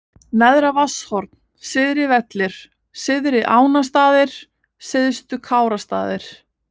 Neðra-Vatnshorn, Syðri Vellir, Syðri-Ánastaðir, Syðstu Kárastaðir